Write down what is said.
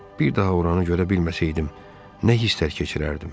Bir daha oranı görə bilməsəydim, nə hisslər keçirərdim?